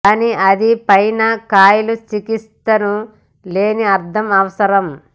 కానీ అది పైన్ కాయలు చికిత్సను లేని అర్థం అవసరం